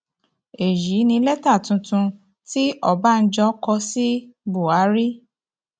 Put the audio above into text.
èyí ni lẹtà tuntun tí ọbànjọ kọ sí buhari